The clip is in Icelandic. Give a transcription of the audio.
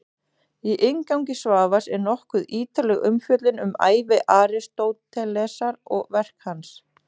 Í inngangi Svavars er nokkuð ítarleg umfjöllun um ævi Aristótelesar og verk hans.